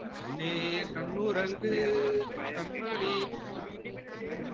கண்ணே கண்ணுறங்கு கண்மணியே